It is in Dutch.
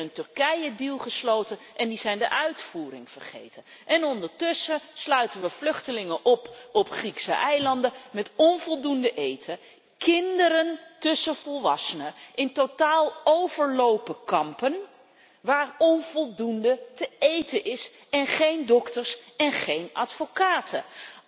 Die hebben een Turkije deal gesloten en zijn de uitvoering vergeten. En ondertussen sluiten we vluchtelingen op op Griekse eilanden met onvoldoende eten, kinderen tussen volwassenen in totaal overlopen kampen waar onvoldoende te eten is en geen dokters en geen advocaten zijn!